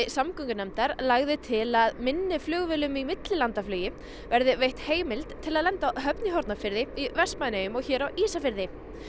samgöngunefndar lagði til að minni flugvélum í millilandaflugi verði veitt heimild til að lenda á Hornafirði Vestmannaeyjum og hér á Ísafirði